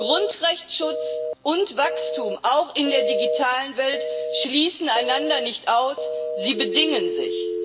Grundrechteschutz und Wachstum, auch in der digitalen Welt, schließen einander nicht aus, sie bedingen sich.